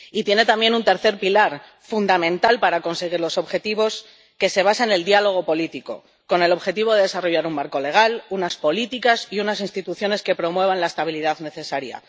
Y tiene también un tercer pilar, fundamental para conseguir los objetivos, que se basa en el diálogo político, con el objetivo de desarrollar un marco legal, unas políticas y unas instituciones que promuevan la estabilidad necesaria.